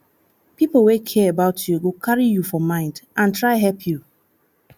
pipo wey care about you go carry you for mind and try help you